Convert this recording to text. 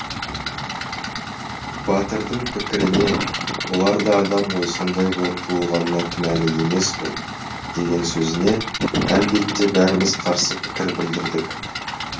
батырдың пікіріне олар да адам ғой сондай болып туылғанына кінәлі емес қой деген сөзіне әлбетте бәріміз қарсы пікір білдірдік